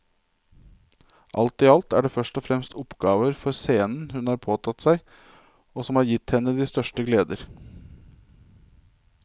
Alt i alt er det først og fremst oppgaver for scenen hun har påtatt seg og som har gitt henne de største gleder.